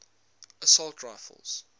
assault rifles